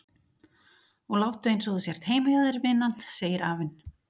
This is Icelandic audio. Og láttu einsog þú sért heima hjá þér vinan, segir afinn.